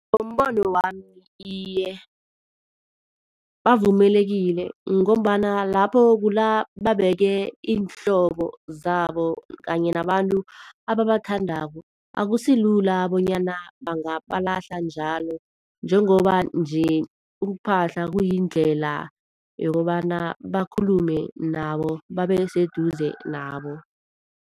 Ngombono wami iye, bavumelekile ngombana lapho kulababeke iinhlobo zabo kanye nabantu abathandako. Akusilula bonyana bangabalahla njalo njengoba nje ukuphahla kuyindlela yokobana bakhulume nabo babeseduze nabo.